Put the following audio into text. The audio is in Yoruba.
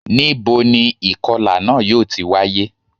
Níboni ìkọlà náà yóò ti wáyé